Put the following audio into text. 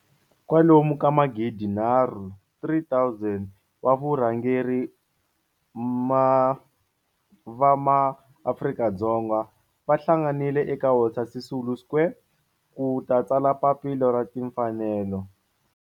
Kwalomu ka magidi nharhu, 3 000, wa vurhangeri va maAfrika-Dzonga va hlanganile eka Walter Sisulu Square ku ta tsala Papila ra Timfanelo.